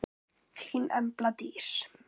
Þín Embla Dís.